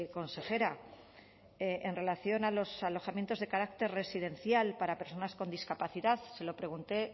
consejera en relación a los alojamientos de carácter residencial para personas con discapacidad se lo pregunté